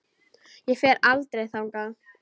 Ég fer aldrei þangað.